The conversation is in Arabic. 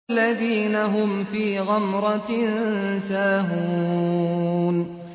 الَّذِينَ هُمْ فِي غَمْرَةٍ سَاهُونَ